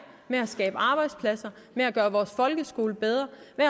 med at skabe arbejdspladser med at gøre vores folkeskole bedre